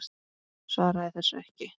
Svaraði þessu ekki.